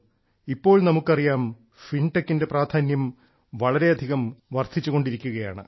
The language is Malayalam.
ഇപ്പോൾ നമുക്കറിയാം ഫിൻടെക്കിന്റെ പ്രാധാന്യം വളരെയധികം വർദ്ധിച്ചു കൊണ്ടിരിക്കുകയാണ്